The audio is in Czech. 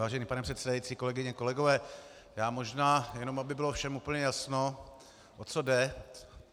Vážený pane předsedající, kolegyně, kolegové, já možná jen aby bylo všem úplně jasno, o co jde.